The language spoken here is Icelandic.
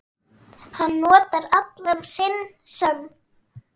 Hann notar allan sinn sann